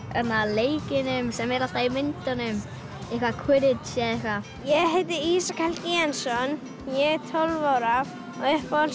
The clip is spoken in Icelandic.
leikjunum sem eru alltaf í myndunum Quidditch eitthvað ég heiti Ísak Jensson ég er tólf ára og